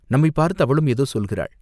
நம்மைப் பார்த்து அவளும் ஏதோ சொல்கிறாள்!